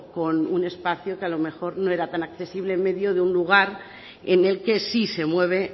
con un espacio que a lo mejor no era tan accesible en medio de un lugar en el que sí se mueve